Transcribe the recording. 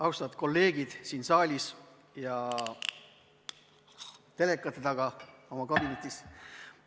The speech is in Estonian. Austatud kolleegid siin saalis ja telekate taga oma kabinetis!